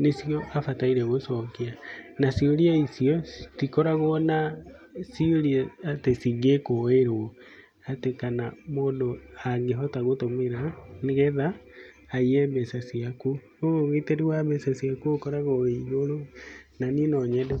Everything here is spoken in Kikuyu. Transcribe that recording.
nĩ cio abataire gũcokia. Na ciũria icio citikoragwo na ciũria atĩ cingĩkuĩrwo ati kana mũndũ angĩhota gũtũmĩra, nĩ getha aiye mbeca ciaku. Ũguo ũgitĩri wa mbeca ciaku ũkoragwo wĩ igũrũ na niĩ no nyende.